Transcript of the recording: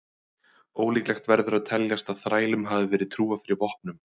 Ólíklegt verður að teljast að þrælum hafi verið trúað fyrir vopnum.